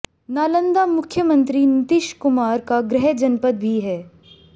नालंदा मुख्यमंत्री नितीश कुमार का गृह जनपद भी है